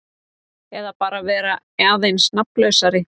Eða bara vera aðeins nafnlausari.